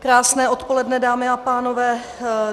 Krásné odpoledne, dámy a pánové.